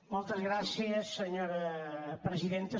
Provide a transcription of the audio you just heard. moltes gràcies senyora presidenta